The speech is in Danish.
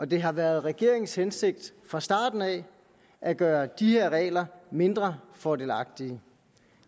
det har været regeringens hensigt fra starten af at gøre de her regler mindre fordelagtige